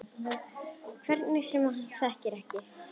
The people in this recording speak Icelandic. Einhver sem hann þekkir ekki.